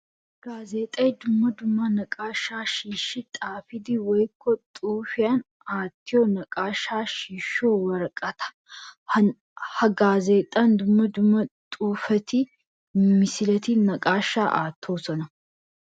Gaazexxay dumma dumma naqaasha shiishshi xaafiddi woykko xuufiyan aattiyo naqaasha shiishshiyo woraqata. Ha gaazexxan dumma dumma xuufettinne misiletti naqaasha aatosonna.